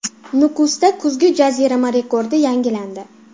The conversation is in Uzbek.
Nukusda kuzgi jazirama rekordi yangilandi.